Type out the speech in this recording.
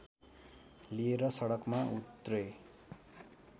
लिएर सडकमा उत्रे